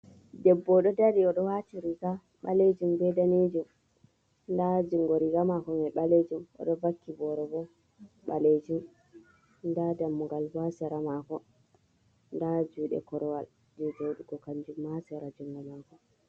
Ɗebbo oɗo dari oɗo wati riga ɓalejum be danejum nda jungo riga mako mai ɓalejum, oɗo vakki bore bo ɓalejum nda dammugal bo ha sera mako, nda juɗe korwal je joɗugo kanjum ma ha sera jungo mako.